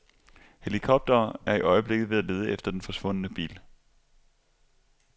Helikoptere er i øjeblikket ved at lede efter den forsvundne bil.